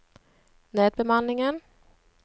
nedbemanningen